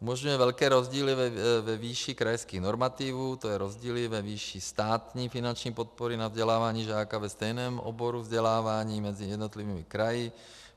Umožňuje velké rozdíly ve výši krajských normativů, to je rozdíly ve výši státní finanční podpory na vzdělávání žáka ve stejném oboru vzdělávání mezi jednotlivými kraji.